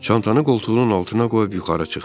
Çantanı qoltuğunun altına qoyub yuxarı çıxdı.